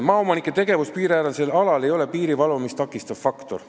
" Maaomanike tegevus piiriäärsel alal ei ole piiri valvamist takistav faktor.